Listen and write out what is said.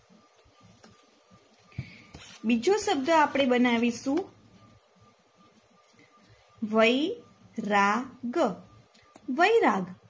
બીજો શબ્દ આપણે બનાવીશું વૈ રા ગ વૈરાગ